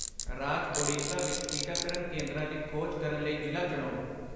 ਰਾਜ ਉੜੀਸਾ ਵਿੱਚ ਟੀਕਾਕਰਨ ਕੇਂਦਰਾਂ ਦੀ ਖੋਜ ਕਰਨ ਲਈ ਜ਼ਿਲ੍ਹਾ ਚੁਣੋ